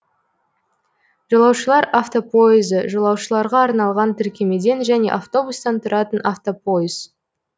жолаушылар автопойызы жолаушыларға арналған тіркемеден және автобустан тұратын автопойыз